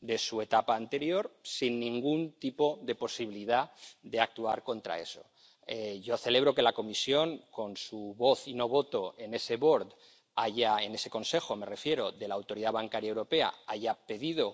de su etapa anterior, sin ningún tipo de posibilidad de actuar contra eso. Yo celebro que la Comisión, con su voz —y no voto— en ese Board —en ese Consejo, me refiero— de la Autoridad Bancaria Europea, haya pedido